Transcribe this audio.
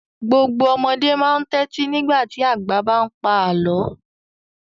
Gbogbo ọmọdé máa ń tẹ́tí nígbà tí àgbà bá ń pa àlọ́.